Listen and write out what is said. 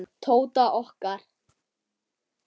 Tóta okkar.